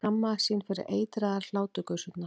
Skammaðist sín fyrir eitraðar hláturgusurnar.